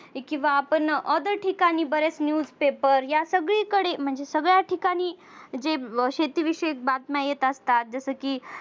किंवा आपण other ठिकाणी बरेच news paper या सगळीकडे म्हणजे सगळ्या ठिकाणी जे शेती विषयक बातम्या येत असतात जस की